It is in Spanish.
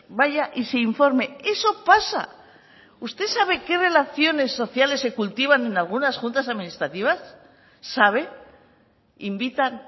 vaya y se informe eso pasa y usted sabe qué relaciones sociales se cultivan en algunas juntas administrativas sabe invitan